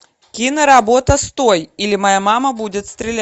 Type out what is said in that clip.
киноработа стой или моя мама будет стрелять